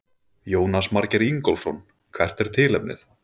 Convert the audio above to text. Jónas Margeir Ingólfsson: Hvert er tilefnið?